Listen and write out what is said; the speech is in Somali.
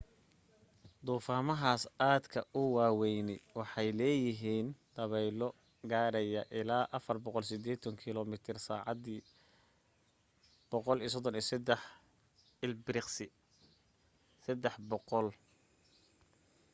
duufaamahaas aadka u waawayni waxay leeyihiin dabaylo gaadhaya ilaa 480 km/h 133 m/s; 300mph